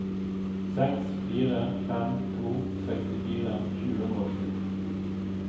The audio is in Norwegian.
seks fire fem to sekstifire sju hundre og sju